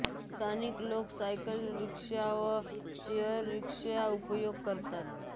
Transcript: स्थानिक लोक सायकल रिक्षाचा व शेअर रिक्षाचा उपयोग करतात